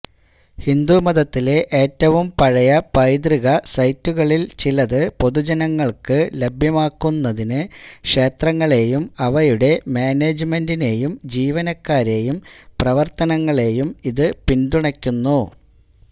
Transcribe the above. ഹിന്ദുമതത്തിലെ ഏറ്റവും പഴയ പൈതൃക സൈറ്റുകളിൽ ചിലത് പൊതുജനങ്ങൾക്ക് ലഭ്യമാക്കുന്നതിന് ക്ഷേത്രങ്ങളെയും അവയുടെ മാനേജ്മെന്റിനെയും ജീവനക്കാരെയും പ്രവർത്തനങ്ങളെയും ഇത് പിന്തുണയ്ക്കുന്നു